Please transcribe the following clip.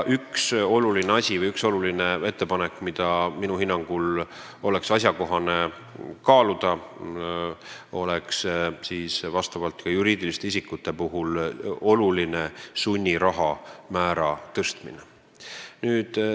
Üks oluline asi või ettepanek, mida minu hinnangul oleks asjakohane kaaluda, on juriidiliste isikute puhul sunniraha määra tõstmine.